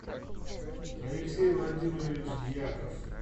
алексей владимирович дьяков